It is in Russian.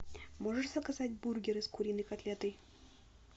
можешь заказать бургеры с куриной котлетой